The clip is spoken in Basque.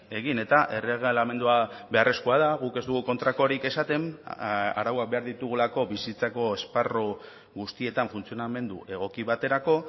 egin eta erregelamendua beharrezkoa da guk ez dugu kontrakorik esaten arauak behar ditugulako bizitzako esparru guztietan funtzionamendu egoki baterako